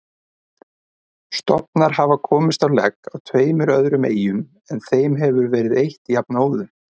Stofnar hafa komist á legg á tveimur öðrum eyjum en þeim hefur verið eytt jafnóðum.